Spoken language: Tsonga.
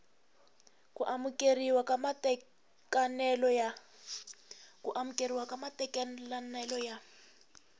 ku amukeriwa ka matekanelo ya